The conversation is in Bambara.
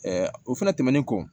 o fɛnɛ tɛmɛnen kɔ